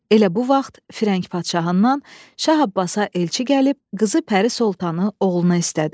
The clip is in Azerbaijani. Elə bu vaxt Firəng padşahından Şah Abbasa elçi gəlib, qızı Pəri Sultanı oğluna istədi.